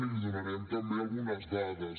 i li donarem també algunes dades